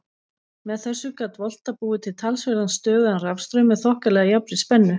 Með þessu gat Volta búið til talsverðan stöðugan rafstraum með þokkalega jafnri spennu.